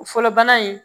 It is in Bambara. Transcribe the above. O fɔlɔ bana in